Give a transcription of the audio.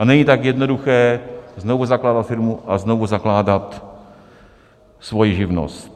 A není tak jednoduché znovu zakládat firmu a znovu zakládat svoji živnost.